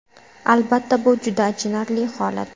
Albatta bu juda achinarli holat.